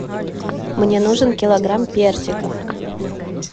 мне нужен килограмм персиков